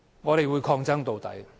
我們會抗爭到底。